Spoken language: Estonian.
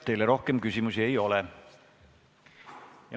Teile rohkem küsimusi ei ole.